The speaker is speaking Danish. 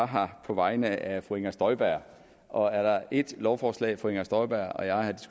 her på vegne af fru inger støjberg og er der et lovforslag fru inger støjberg og jeg har